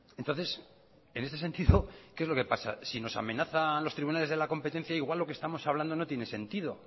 entonces en ese sentido qué es lo que pasa si nos amenazan los tribunales de la competencia igual lo que estamos hablando no tiene sentido